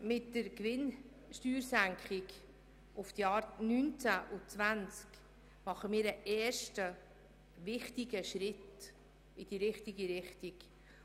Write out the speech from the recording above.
Mit der Senkung der Gewinnsteuer für die Jahre 2019 und 2020 machen wir einen ersten wichtigen Schritt in die richtige Richtung.